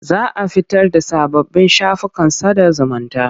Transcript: Za a fitar da sababbin shafukan sada zumunta.